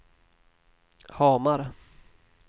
Hamar